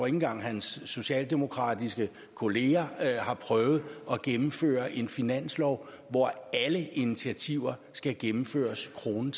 engang at hans socialdemokratiske kolleger har prøvet at gennemføre en finanslov hvor alle initiativer skal gennemføres krone